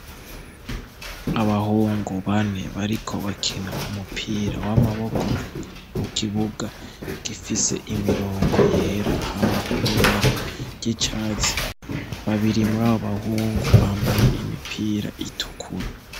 Abagabo batatu bifotoje banezerewe bariko baratwenga imbere yabo ku meza hari ivyuma vyinshi harimwo igitanga amatara ava ku mishwarara y'izuba vyerekana ko ari abahinga mu vyo imyuga bariko baratanga amahugurwa.